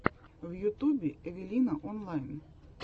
в ютубе эвелина онлайн